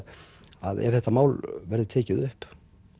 að ef þetta mál verður tekið upp